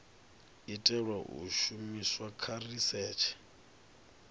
itelwa u shumiswa kha risetshe